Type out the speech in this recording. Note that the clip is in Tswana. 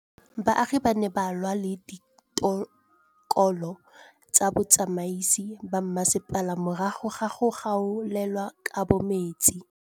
Baagi ba ne ba lwa le ditokolo tsa botsamaisi ba mmasepala morago ga go gaolelwa kabo metsi